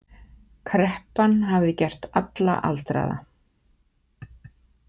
Kreppan hafði gert alla aldraða.